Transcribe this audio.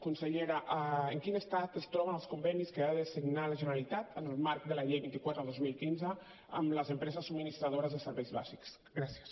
consellera en quin estat es troben els convenis que ha de signar la generalitat en el marc de la llei vint quatre dos mil quinze amb les empreses subministradores de serveis bàsics gràcies